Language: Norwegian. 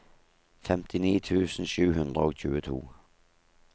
femtini tusen sju hundre og tjueto